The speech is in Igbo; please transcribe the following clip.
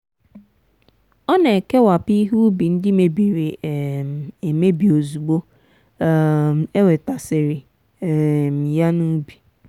ọ na-ekewapụ ihe ubi ndị mebiri um emebi ozugbo um e wetasịrị um ya n'ubi.